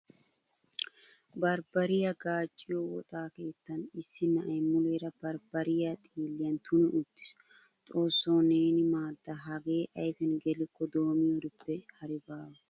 Barbariyaa gaacciyaa woxa keettan issi na'ay muleera barbbariyaa xiilliyan tuni uttiis. Xoosso neeni maada hage ayfiyan gelikko doomiyorippe hari baawa.